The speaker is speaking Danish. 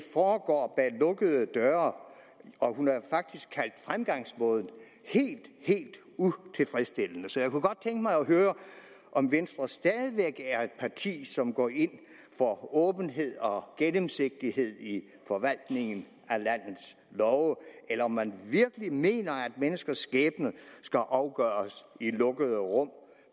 foregår bag lukkede døre hun har faktisk kaldt fremgangsmåden helt helt utilfredsstillende så jeg kunne godt tænke mig at høre om venstre stadig væk er et parti som går ind for åbenhed og gennemsigtighed i forvaltningen af landets love eller om man virkelig mener at menneskers skæbne skal afgøres i lukkede rum og